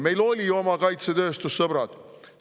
Meil oli oma kaitsetööstus, sõbrad!